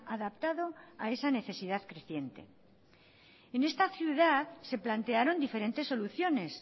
adaptado a esa necesidad creciente en esta ciudad se plantearon diferentes soluciones